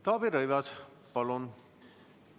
Taavi Rõivas, palun!